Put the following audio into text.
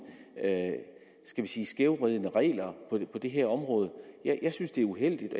skal vi sige skævvridende regler på det her område jeg synes det er uheldigt